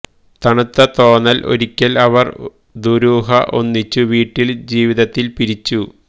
തണുത്ത തോന്നൽ ഒരിക്കൽ അവർ ദുരൂഹ ഒന്നിച്ചു വീട്ടിൽ ജീവിതത്തിൽ പിരിച്ചു